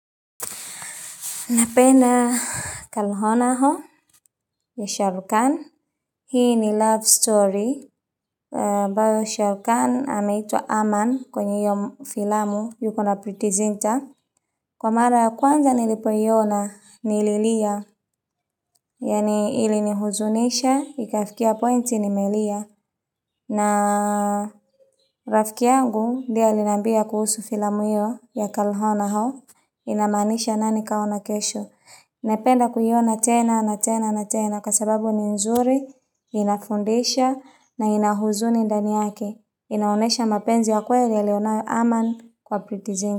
Napenda Kal Ho Naa Ho ya Shah Rukh Khan. Hii ni love story. Ambayo Shah Rukh Khan anaitwa Aman kwenye hiyo filamu yuko na Preity Zinta. Kwa mara ya kwanza nilipoiona nililia. Yaani ilinihuzunisha, ikafikia pointi nimelia. Na rafiki yangu ndiye aliniambia kuhusu filamu hiyo ya Kal Ho Naa Ho. Inamaanisha nani kaona kesho. Napenda kuiona tena na tena na tena kwa sababu ni nzuri, inafundisha na ina huzuni ndani yake. Inaonesha mapenzi ya kweli aliyo nayo Aman kwa Preity Zinta.